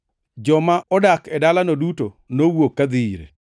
Joma odak e dalano duto nowuok kadhi ire.